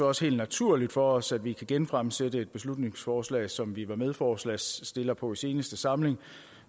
også helt naturligt for os at vi kan genfremsætte et beslutningsforslag som vi var medforslagsstillere på i seneste samling